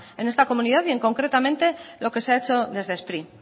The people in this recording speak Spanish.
en esta comunidad y concretamente lo que se ha hecho desde spri